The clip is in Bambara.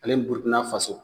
Ale ni burukina faso